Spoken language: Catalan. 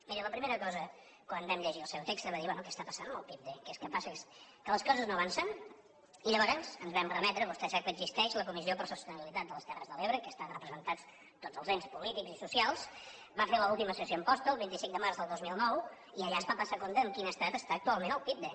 miri la primera cosa quan vam llegir el seu text va ser dir bé què està passant amb el pipde què passa és que les coses no avancen i llavors ens vam remetre vostè sap que existeix a la comissió per a la sostenibilitat de les terres de l’ebre que hi estan representats tots els ens polítics i socials que va fer l’última sessió a amposta el vint cinc de març del dos mil nou i allà es va passar comptes en quin estat està actualment el pipde